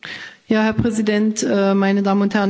Herr Präsident, meine Damen und Herren!